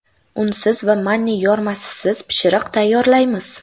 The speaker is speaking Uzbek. Unsiz va manniy yormasisiz pishiriq tayyorlaymiz.